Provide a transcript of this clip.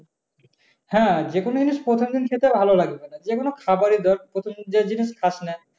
হ্যাঁ যেকোনো জিনিস প্রথম দিন খেতে ভালো লাগবে না যে কোনো খাবারই ধর যে জিনিস খাস না।